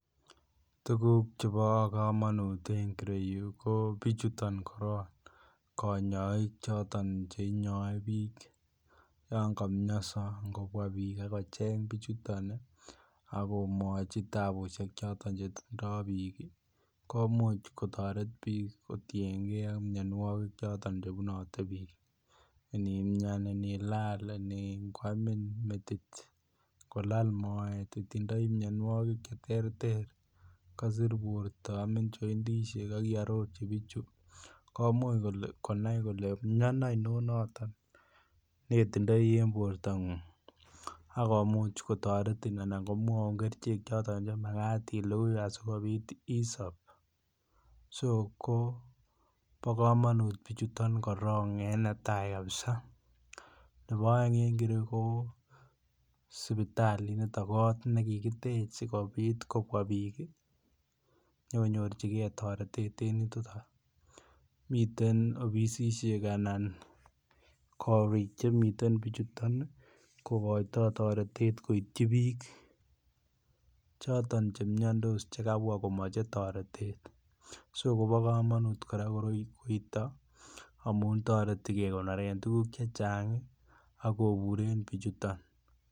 Tuguk chebo kamanut eng ireyu kopichuton ko konyoik choton che inyoe biik yon kamioso. Ngobwa biik ak kocheng biichuton ak komwochi tabusiechoton che tindo biik. Kimuch kotaret biik kotienge ak mianwogik choton chebunote biik. Inimian, inilal in kwamin metit kolal moet. Itimdoi mianwogik cheterter, kosir borto, amin choindisiek ak iarorchi biichu. Komuch konai kole mion ainon notok netindoi en bortangung. Ak komuch kotoretin anan komwaun kerichek choton che magat ilugui asi gopit isop. Sokobo kamanut biichuton korong en netai kapisa. Nebo aeng eng ireu ko sipitalinito ko kot nekilitech sigopit kobwa biik nyokonyorchige toretet en yutok kora. Miten opisisiek anan korik cheiten biichutok kokoito toretet koityi biik choton che miandos che kabwa komoche toretet. So kobo kamanut kora koiton amun toreti kekonoren tuguk che chang ak koburen biichuton.